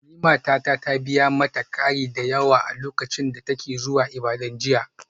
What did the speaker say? Nimata ta biya mata kari da yawa a lokacin da take zuwa Ibadan jiya.